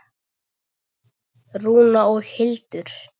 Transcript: Rúna og Hildur.